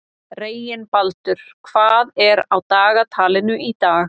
Reginbaldur, hvað er á dagatalinu í dag?